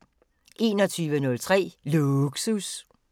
21:03: Lågsus